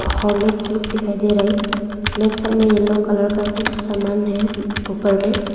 Horlicks look दिखाई दे रहा है लेफ्ट साइड में येलो कलर का कुछ सामान है ऊपर में।